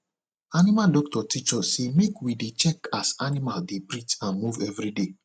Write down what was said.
animal doctor teach us say make we dey check as animal dey breath and move every day